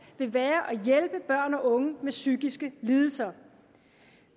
vil være at hjælpe børn og unge med psykiske lidelser